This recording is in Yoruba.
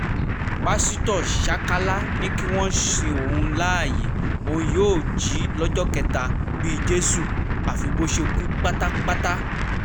pásítọ̀ ṣákálá ni kí wọ́n sin òun láàyè òun yóò jí lọ́jọ́ kẹta bíi jésù àfi bó ṣe kú pátápátá